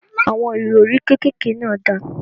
Àwọn ìrọrí kékèké náà dà?